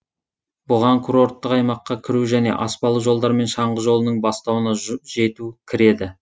бұған курорттық аймаққа кіру және аспалы жолдармен шаңғы жолының бастауына жету кіреді